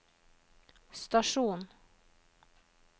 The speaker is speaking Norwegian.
stasjon